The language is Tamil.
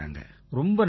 ரொம்ப நன்றி சார்